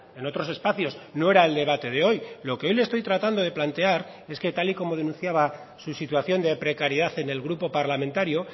en otros espacios no era el debate de hoy lo que hoy le estoy tratando de plantear es que tal y como denunciaba su situación de precariedad en el grupo parlamentario